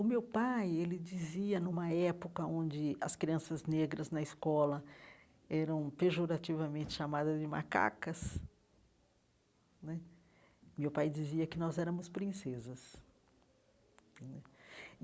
O meu pai, ele dizia, numa época onde as crianças negras na escola eram pejorativamente chamadas de macacas né, meu pai dizia que nós éramos princesas né.